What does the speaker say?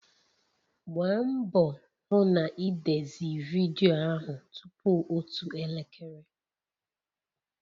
Gbaa mbọ hụ na ị dezie vidiyo ahụ tupu otu elekere